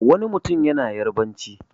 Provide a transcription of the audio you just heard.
Wani mutum yana Yarabanci.